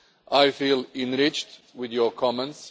I feel enriched by your comments.